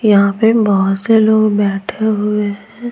यहाँ पे बहुत से लोग बैठे हुए हैं।